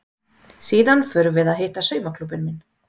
Síðan förum við að hitta saumaklúbbinn minn.